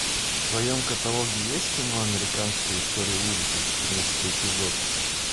в твоем каталоге есть кино американская история ужасов четырнадцатый эпизод